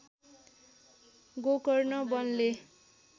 Gokarna वनले